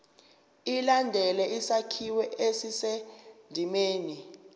ilandele isakhiwo esisendimeni